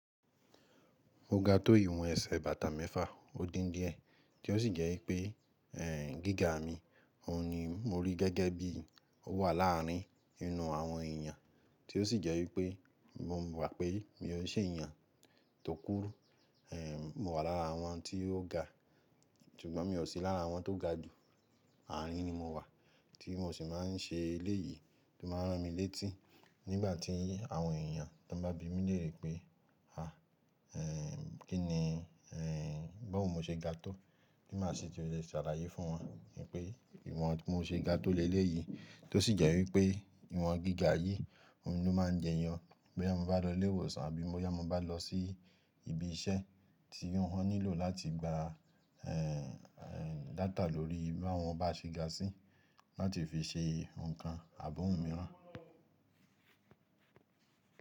Mo ga tó ìwọ̀n ẹsẹ̀ bàtà mẹ́fà, ó dín díẹ̀ tí ó sì jẹ́ wípé gíga mi, òun ni mo rí gẹ́gẹ́ bí ó wà láàrin inú àwọn èèyàn tí ó sì jẹ́ wípé mo wà pé mi ò ṣe èèyàn tó kúrú, mo wà lára àwọn tí ó ga, ṣùgbọ́n mi ò sí lára àwọn tó ga jù, àárín ni mo wà tí mo sì máa ń ṣe eléyìí tó máa ń rán mi létí nígbà tí àwọn èèyàn tó bá bi mí lèré pé, à, kí ni gbóò mọ́ ṣe ga tó tí màá sì ti lè ṣàlàyé fún wọn pé ìwọ̀n tí mo ṣe ga tó le léyìí tó sì jẹ́ wípé ìwọ̀n gíga yìí òun ló máa ń jẹ yàn bóyá mo bá lọ ilé ìwòsàn àbí bóyá mo bá lọ sí ibi iṣẹ́ tí wọ́n nílò láti gba data lórí báwọn bá ṣe ga sí láti fi ṣe nǹkan àbọ̀ wun mìíràn.